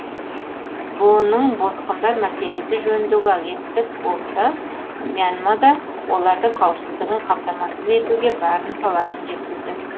бұұ ның босқындар мәселесі жөніндегі агенттік болса мьянмада олардың қауіпсіздігін қамтамасыз етуге барын салатынын жеткізді